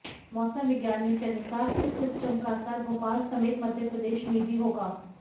मौसम विज्ञानियों के अनुसार इस सिस्टम का असर भोपाल समेत मप्र में भी होगा